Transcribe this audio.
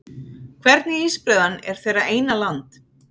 Hvernig ísbreiðan er þeirra eina land